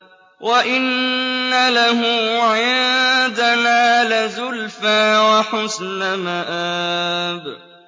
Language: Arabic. وَإِنَّ لَهُ عِندَنَا لَزُلْفَىٰ وَحُسْنَ مَآبٍ